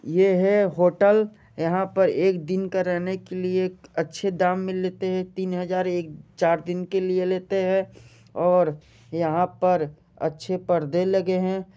ये हैं होटल यहाँ पर एक दिन का रहने के लिए अच्छे दाम मिल लेते हैं तीन हज़ार एक चार दिन के लिए लेते है और यहाँ पर अच्छे परदे लगे हैं।